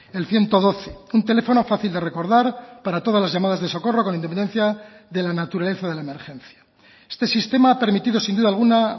el ciento doce un teléfono fácil de recordar para todas las llamadas de socorro con independencia de la naturaleza de la emergencia este sistema ha permitido sin duda alguna